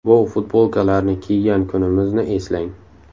Bu futbolkalarni kiygan kunimizni eslang!